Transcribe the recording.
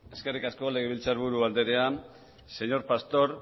eskerrik asko legebiltzarburu andrea señor pastor